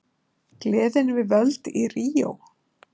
Gleðin við völd í Ríó